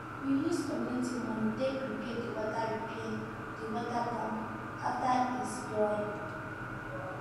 we use community money take repair the water repair the water pump after e spoil